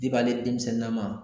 ale denmisɛn na ma.